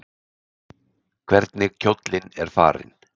Hvernig kjóllinn er farinn!